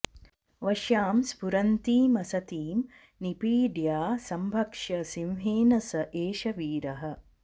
वश्यां स्फुरन्तीमसतीं निपीड्य सम्भक्ष्य सिंहेन स एष वीरः